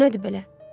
Bu nədir belə?